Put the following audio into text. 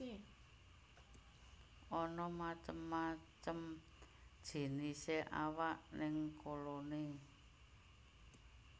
Ana macem macem jinisé awak ning koloni